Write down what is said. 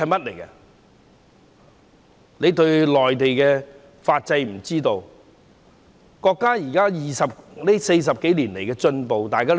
他們對內地的法制和國家40多年來的進步不了解。